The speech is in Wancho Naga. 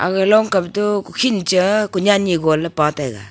aga long kam toh kukhin cha kunyen pa taiga.